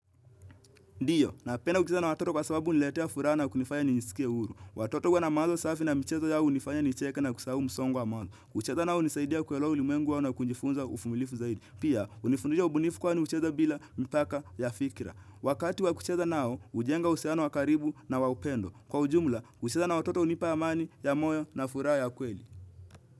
Ndio, na penda kucheza na watoto kwa sababu huniletea furaha na kunifanya ni nijisikie uru. Watoto huwa na mawazo safi na mchezo yao unifaya ni cheke na kusahau msongo wa mazo. Kucheza nao unisaidia kuelewa ulimwengu wao na kujifunza ufumilifu zaidi. Pia, unifundisha ubunifu kwa ni ucheza bila mpaka ya fikira. Wakati wa kucheza nao, ujenga uhusiano wa karibu na wa upendo. Kwa ujumla, uchezo na watoto unipa amani, ya moyo, na furaha ya kweli.